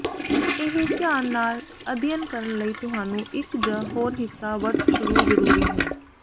ਇਹ ਧਿਆਨ ਨਾਲ ਅਧਿਐਨ ਕਰਨ ਲਈ ਤੁਹਾਨੂੰ ਇੱਕ ਜ ਹੋਰ ਹਿੱਸਾ ਵਰਤ ਸ਼ੁਰੂ ਜ਼ਰੂਰੀ ਹੈ